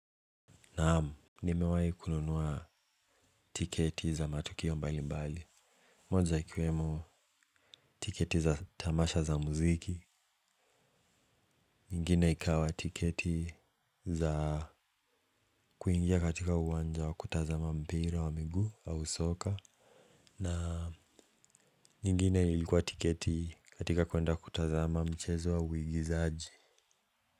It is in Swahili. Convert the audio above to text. Naam, nimewai kununua tiketi za matukio mbali mbali. Moja ikiwemo tiketi za tamasha za muziki. Nyingine ikawa tiketi za kuingia katika uwanja wa kutazama mpira wa miguu au soka. Na nyingine ilikuwa tiketi katika kwenda kutazama mchezo wa uigizaji.